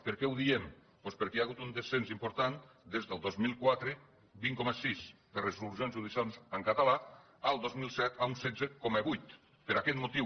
per què ho diem doncs perquè hi ha hagut un descens important des del dos mil quatre vint coma sis de resolucions judicials en català al dos mil set un setze coma vuit per aquest motiu